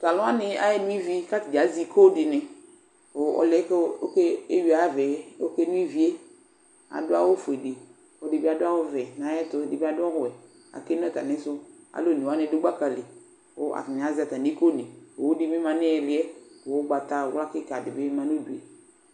Tʋ alʋ wanɩ ayaɣa eno ivi kʋ ata bɩ azɛ iko dɩnɩ kʋ ɔlʋ yɛ kʋ ɔke eyui ava yɛ ɔkeno ivi yɛ Adʋ awʋfue dɩ kʋ ɔlɔdɩ adʋ awʋvɛ nʋ ayɛtʋ Ɛdɩ bɩ adʋ ɔwɛ Akeno atamɩsʋ Alʋ one wanɩ dʋ gbaka li kʋ atanɩ azɛ atamɩ ikonɩ Owu dɩ bɩ ma nʋ ɩɩlɩ yɛ kʋ ʋgbatawla kɩka dɩ bɩ ma nʋ udu yɛ